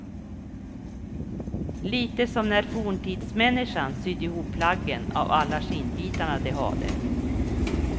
Lite som när forntidsmänniskan sydde ihop plaggen av alla skinnbitarna de hade.